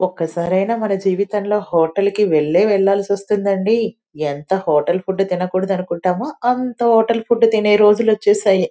ఒక్కసారైనా మన జీవితంలో హోటల్ కి వెళ్లే వెళ్లాల్సి వస్తుంది అండి ఎంత హోటల్ ఫుడ్డు తినకూడదనుకున్నా అనుకుంటామా అంత హోటల్ ఫుడ్ తినే రోజులు వచ్చేసాయి.